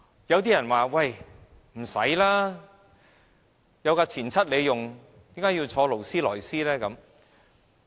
有些人說有"錢七"使用，為何要坐勞斯萊斯呢？